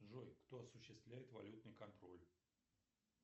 джой кто осуществляет валютный контроль